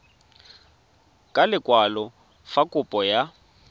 ka lekwalo fa kopo ya